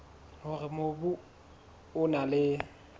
hore mobu o na le